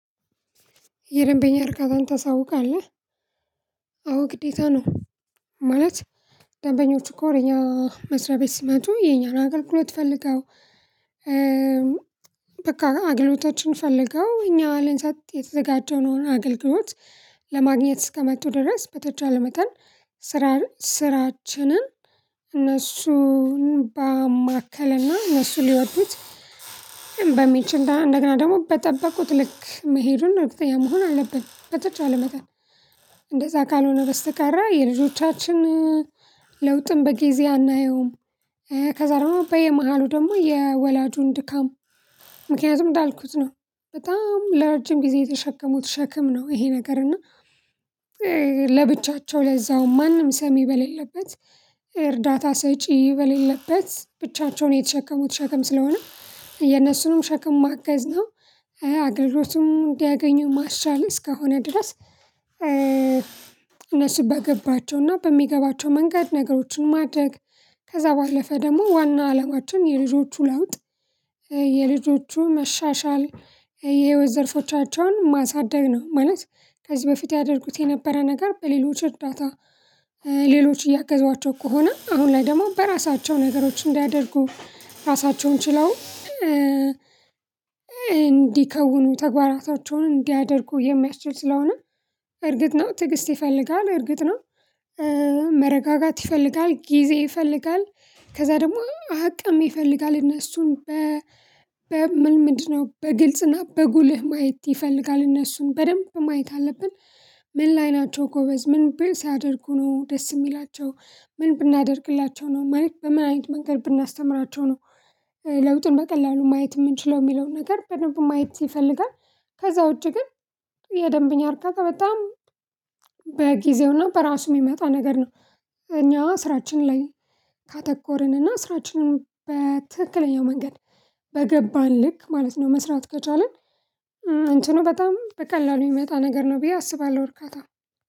የደንበኛ እርካታን ተሳውቃለህ አዎ ግዴታ ነው። ማለት ደንበኞቹኮ ወደእኛ መስሪያ ቤት ስመጡ የኛን አገልግሎት ፈልገው በቃ አገልግሎቶችን ፈልገው እኛ ልንሰጥ የተዘጋጀነውን አገልግሎት ለማግኘት እስከመጡ ድረስ በተቻለ መተን ስራን ስራችንን እነሱን ባማከለና እነሱ ሊወዱት በሚችል እንደገና ደግሞ በጠበቁት ልክ መሄዱን እርግጠኛ መሆን አለብን። በተቻለ መጠን እንደዛ ካልሆነ በስተቀር የልጆቻችን ለውጥም በጊዜ አናየውም። ከዛ ደግሞ በየመሃሉ ደግሞ የወላጁን ድካም ምክንያቱም እንዳልኩት ነው በጣም ለረጅም ጊዜ የተሸከሙት ሸክም ነው። ይሄ ነገር እና ለብቻቸው ለዛውም ማንም ሰሚ በሌለበት እርዳታ ሰጪ በሌለበት ብቻቸውን የተሸከሙት ሸክም ስለሆነ የነሱንም ሸክም ማገዝ ነው። አገልግሎቱም እንዲያገኙ ማሻሸል እስከሆነ ድረስ። እነሱ በገባቸው እና በሚገባቸው መንገድ ነገሮችን ማድረግ ከዛ ባለፈ ደግሞ ዋና አለማችን የልጆቹ ለውጥ የልጆቹን መሻሻል የህይወት ዘርፎቻቸውን ማሳደግ ነው። ማለት ከዚህ በፊት ያደረጉት የነበረ ነገር በሌሎች እርዳታ። ሌሎች እያገዟቸው ከሆነ አሁን ላይ ደግሞ በራሳቸው ነገሮች እንዲያደርጉ ራሳቸውን ችለው እንዲከውኑ ተግባራታቸውን እንዲያደርጉ የሚያስችሉ ስለሆነ። እርግጥ ነው ትዕግስት ይፈልጋል እርግጥ ነው። መረጋጋት ይፈልጋል ጊዜ ይፈልጋል ከዛ ደግሞ አቅም ይፈልጋል እነሱን በ ምልምድ ነው በግልጽና በጉልህ ማየት ይፈልጋል እነሱን በደንብ ማየት አለብን። ምን ላይ ናቸው? ጎበዝ ምን ብሲያደርጉ ነው ደስ የሚላቸው? ምን ብናደርግላቸው ነው? ማለት በምን አይነት መንገድ ብናስተምራቸው ነው? ለውጡን በቀላሉ ማየት የምንችለው የሚለውን ነገር በደንብ ማየት ይፈልጋል። ከዛ ውጪ ግን። የደንብኛ እርካታ በጣም በጊዜውና በራሱ የሚመጣ ነገር ነው። እኛ ስራችን ላይ ካተኮርን እና ስራችንን በትክክለኛው መንገድ በገባን ልክ ማለት ነው መስራት ከቻልን። እንትኑ በጣም በቀላሉ የሚመጣ ነገር ነው ብዬ አስባለሁ እርካታ።